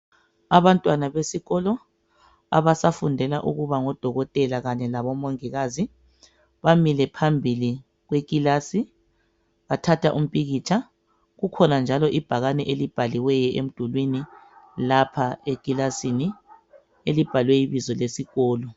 Abantwana besikolo ababafundela ukuba ngoDokotela labo Mongikazi bamile phambili kwekilasi, bathatha umpikitsha kukhona njalo ibhakani elibhaliweyo emdulwini lapha ekilasini, elibhalwe ibizo lesikolo.